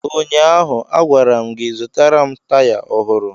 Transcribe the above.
Ụnyaahụ, a gwara m gị, zụtara m taya ọhụrụ!